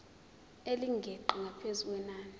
elingeqi ngaphezu kwenani